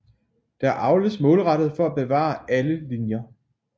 Der avles målrettet for at bevare alle linjer